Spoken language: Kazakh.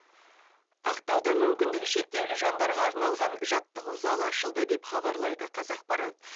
ақтауда мүмкіндігі шектеулі жандарға арналған жаттығу залы ашылды деп хабарлайды қазақпарат